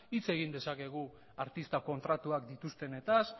hitz egin dezakegu artista kontratuak dituztenetaz